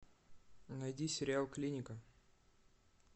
найди сериал клиника